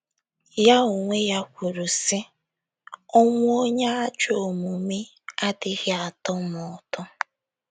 Ya onwe ya kwuru, sị: “ Ọnwụ onye ajọ omume adịghị atọ m ụtọ. ”